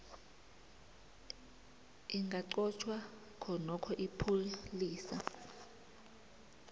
lingaqotjhwa khonokho ipholisa